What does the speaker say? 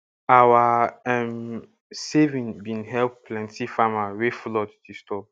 our um saving bin help plenty farmer wey flood disturb